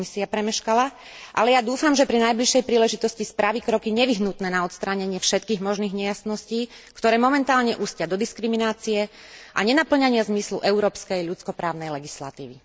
Komisia premeškala, ale ja dúfam, že pri najbližšej príležitosti spraví kroky nevyhnutné na odstránenie všetkých možných nejasností, ktoré momentálne ústia do diskriminácie a nenapĺňania zmyslu európskej ľudsko právnej legislatívy.